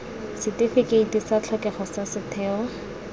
setifikeiti sa tlhokego sa setheo